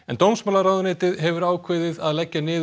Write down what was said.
dómsmálaráðuneytið hefur ákveðið að leggja niður